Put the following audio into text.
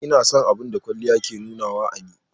Ina son abun da kwalliya ya ke nunawa a ni.